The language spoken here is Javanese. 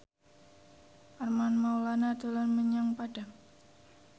Armand Maulana dolan menyang Padang